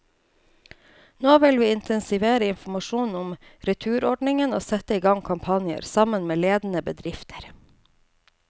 Nå vil vi intensivere informasjonen om returordningen og sette i gang kampanjer, sammen med ledende bedrifter.